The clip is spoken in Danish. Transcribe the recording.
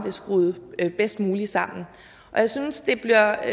er skruet bedst muligt sammen og jeg synes det bliver